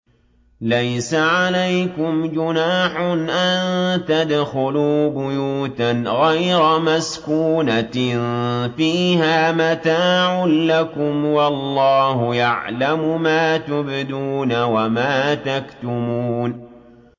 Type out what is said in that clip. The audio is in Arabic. لَّيْسَ عَلَيْكُمْ جُنَاحٌ أَن تَدْخُلُوا بُيُوتًا غَيْرَ مَسْكُونَةٍ فِيهَا مَتَاعٌ لَّكُمْ ۚ وَاللَّهُ يَعْلَمُ مَا تُبْدُونَ وَمَا تَكْتُمُونَ